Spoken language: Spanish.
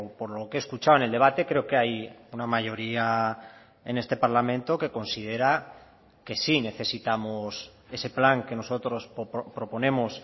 por lo que he escuchado en el debate creo que hay una mayoría en este parlamento que considera que sí necesitamos ese plan que nosotros proponemos